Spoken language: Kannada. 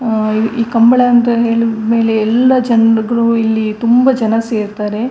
ಆ ಈ ಈ ಕಂಬಳ ಅಂತ ಹೇಳಿದ ಮೇಲೆ ಎಲ್ಲ ಜನರಿಗೂ ಇಲ್ಲಿ ತುಂಬಾ ಜನ ಸೇರ್ತಾರೆ .